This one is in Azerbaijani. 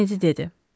Kenedi dedi.